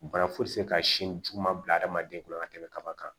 Bana foyi tɛ se ka sin juma bila hadamaden kunna ka tɛmɛ kaba kan